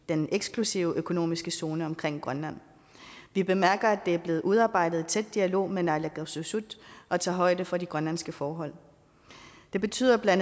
den eksklusive økonomiske zone omkring grønland vi bemærker at det er blevet udarbejdet i tæt dialog med naalakkersuisut og tager højde for de grønlandske forhold det betyder bla